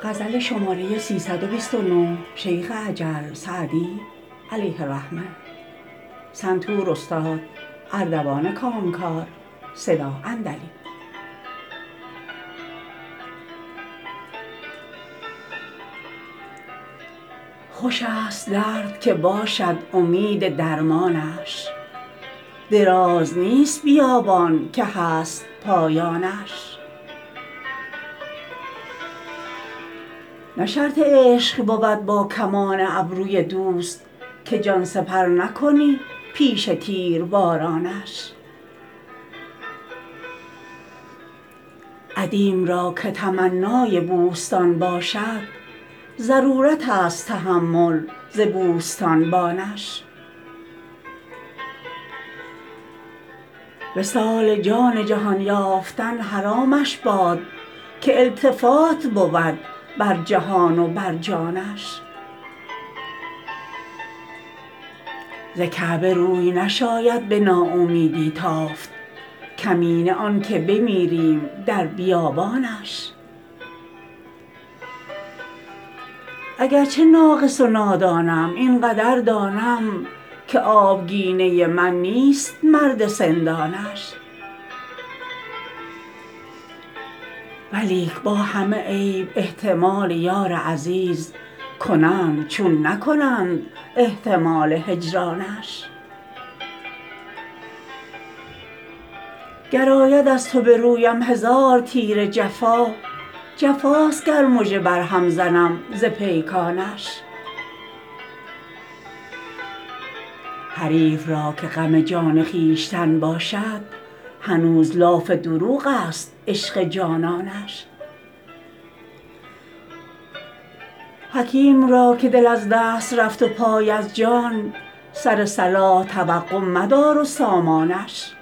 خوش است درد که باشد امید درمانش دراز نیست بیابان که هست پایانش نه شرط عشق بود با کمان ابروی دوست که جان سپر نکنی پیش تیربارانش عدیم را که تمنای بوستان باشد ضرورت است تحمل ز بوستانبانش وصال جان جهان یافتن حرامش باد که التفات بود بر جهان و بر جانش ز کعبه روی نشاید به ناامیدی تافت کمینه آن که بمیریم در بیابانش اگر چه ناقص و نادانم این قدر دانم که آبگینه من نیست مرد سندانش ولیک با همه عیب احتمال یار عزیز کنند چون نکنند احتمال هجرانش گر آید از تو به رویم هزار تیر جفا جفاست گر مژه بر هم زنم ز پیکانش حریف را که غم جان خویشتن باشد هنوز لاف دروغ است عشق جانانش حکیم را که دل از دست رفت و پای از جای سر صلاح توقع مدار و سامانش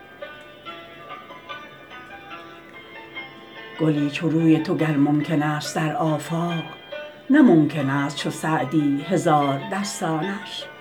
گلی چو روی تو گر ممکن است در آفاق نه ممکن است چو سعدی هزاردستانش